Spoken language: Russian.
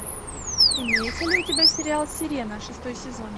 имеется ли у тебя сериал сирена шестой сезон